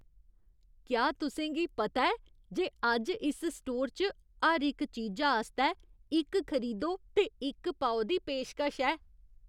क्या तुसें गी पता ऐ जे अज्ज इस स्टोर च हर इक चीजा आस्तै इक खरीदो ते इक पाओ दी पेशकश ऐ?